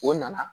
O nana